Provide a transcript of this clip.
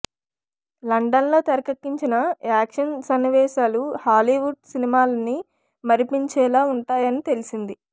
London లో తెరకెక్కించిన action సన్నివేశాలు హాలీవుడ్ సినిమాలని మరిపించేలా ఉంటాయని తెలిసింది